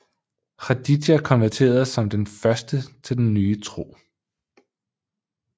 Khadidja konverterede som den første til den nye tro